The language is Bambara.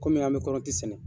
Kɔmi an bɛ kɔrɔti sɛnɛ.